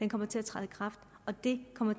kommer til at træde i kraft og det kommer